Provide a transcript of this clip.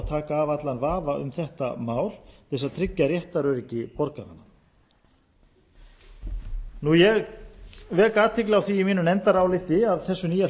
taka af allan vafa um þetta mál til þess að tryggja réttaröryggi borgaranna ég vek athygli á því í mínu nefndaráliti að í þessu nýja